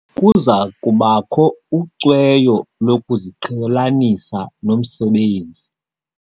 Kuza kubakho ucweyo lokuziqhelanisa nomsebenzi.